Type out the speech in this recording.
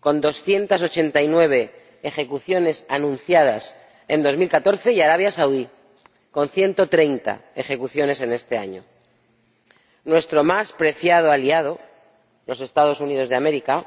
con 289 ejecuciones anunciadas en 2014, y Arabia Saudí, con 130 ejecuciones ese mismo año. Por cierto, nuestro más preciado aliado, los Estados Unidos de América,